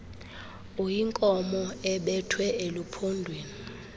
uyinkomo ebethwe eluphondweni